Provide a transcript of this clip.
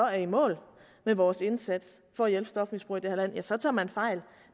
i mål med vores indsats for at hjælpe stofmisbrugere i det her land så tager man fejl